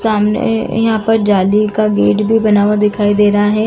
सामने यहां पर जाली का गेट भी बना हुआ दिखाई दे रहा है।